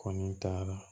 Kɔni taara